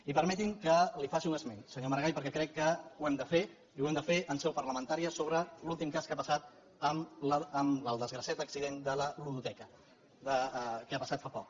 i permeti’m que li faci un esment senyor maragall perquè crec que ho hem de fer i ho hem de fer en seu parlamentària sobre l’últim cas que ha passat amb el desgraciat accident de la ludoteca que ha passat fa poc